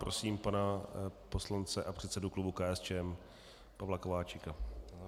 Prosím pana poslance a předsedu klubu KSČM Pavla Kováčika.